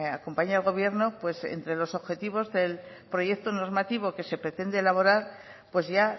acompañe al gobierno entre los objetivos del proyecto normativo que se pretende elaborar pues ya